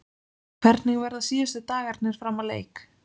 Hvernig verða síðustu dagarnir fram að leik?